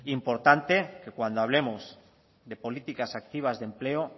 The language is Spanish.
importante que cuando hablemos de políticas activas de empleo